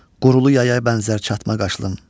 Qurulu yaya bənzər çatma qaşlım.